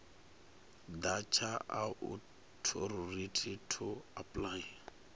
ḓa tsha authority to apply